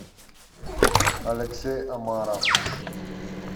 алексей омаров